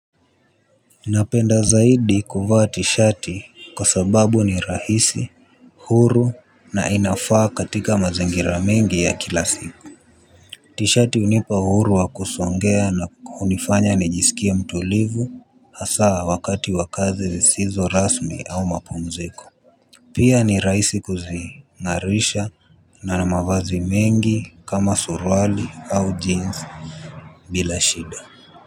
Napenda zaidi kuvaa tishati kwa sababu ni rahisi. Huru na inafaa katika mazingira mengi ya kila siku. Tishati hunipa uhuru wa kusongea na hunifanya nijisikie mtulivu hasa wakati wa kazi zisizo rasmi au mapumziko. Pia ni rahisi kuzingarisha na mavazi mengi kama suruali au jeans. Bila shida.